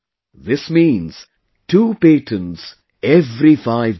This means two patents every five days